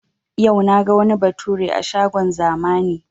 Yau naga wani bature a shagon zamani